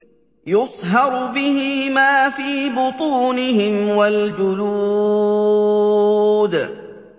يُصْهَرُ بِهِ مَا فِي بُطُونِهِمْ وَالْجُلُودُ